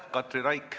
Katri Raik.